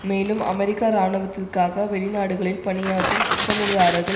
மேலும் அமெரிக்க இராணுவத்திற்காக வெளிநாடுகளில் பணியாற்றும் ஒப்பந்ததாரர்கள்